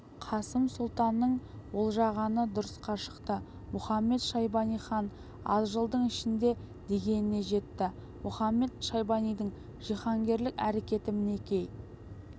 қасым сұлтанның болжағаны дұрысқа шықты мұхамед-шайбани хан аз жылдың ішінде дегеніне жетті мұхамед-шайбанидың жиһанкерлік әрекеті мінекей